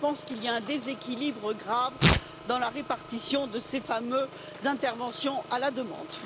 Je pense qu'il y a un déséquilibre grave dans la répartition de ces fameuses interventions à la demande.